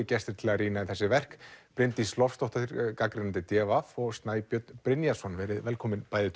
gestir til að rýna í þessi verk Bryndís Loftsdóttir gagnrýnandi d v og Snæbjörn Brynjarsson verið velkomin bæði